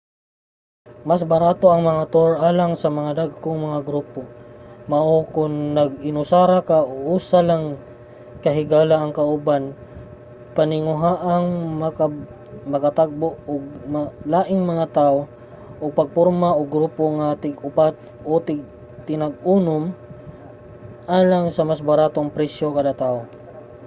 mas barato ang mga tour alang sa mas dagkong mga grupo mao kon nag-inusara ka o usa lang ka higala ang kauban paninguhaang makatagbo og laing mga tawo ug pagporma og grupo nga tinag-upat o tinag-unom alang sa mas baratong presyo kada tawo